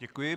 Děkuji.